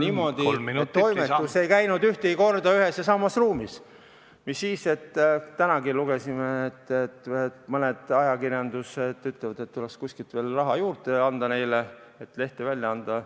... niimoodi, et toimetus ei käinud ühtegi korda ühes ja samas ruumis koos, mis siis, et tänagi lugesime, et mõned ajakirjanikud ütlevad, et neile tuleks kuskilt raha juurde leida, et lehte saaks välja anda.